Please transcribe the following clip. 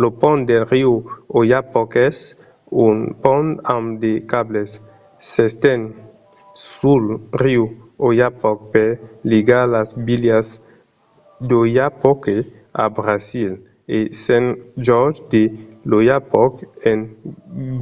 lo pont del riu oyapock es un pont amb de cables. s'esten sul riu oyapock per ligar las vilas d'oiapoque a brasil e saint-georges de l'oyapock en